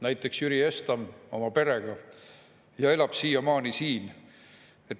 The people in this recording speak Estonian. Näiteks tuli Jüri Estam oma perega ja elab siiamaani siin.